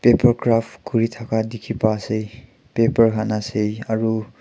paper craft kuri thaka dikhi pa asey paper han asey aru--